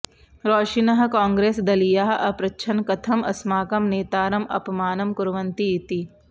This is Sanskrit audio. रोषिनः कॉग्रेसदलीयाः अपृच्छन् कथम् अस्माकं नेतारम् अपमानं कुर्वन्ति इति